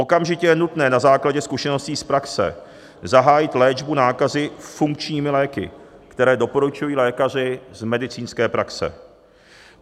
Okamžitě je nutné na základě zkušeností z praxe zahájit léčbu nákazy funkčními léky, které doporučují lékaři z medicínské praxe.